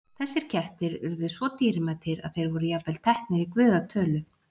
Þessir kettir urðu svo dýrmætir að þeir voru jafnvel teknir í guða tölu.